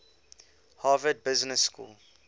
harvard business school